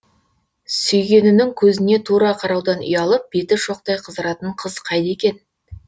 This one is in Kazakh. сүйгенінің көзіне тура қараудан ұялып беті шоқтай қызаратын қыз қайда екен